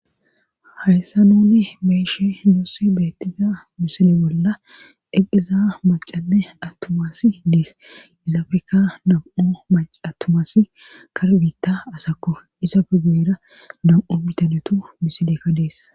hayssa noonni beeshe noossi beettiza misili bolla eqqiza macane attumasi diis izaafeka namu7u mac attumasi karbiitta asakko isa pegibera nam7u bitaletu misilekka dees